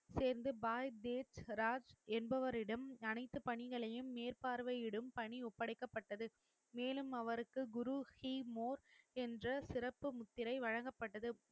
சேர்ந்து பாய் தேசராஜ் என்பவரிடம் அனைத்து பணிகளையும் மேற்பார்வையிடும் பணி ஒப்படைக்கப்பட்டது மேலும் அவருக்கு குரு ஹிமோர் என்ற சிறப்பு முத்திரை வழங்கப்பட்டது